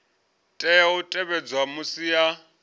tea u tevhedza musi a